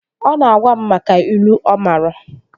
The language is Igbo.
Ọ na-agwa m maka ilu ọ maara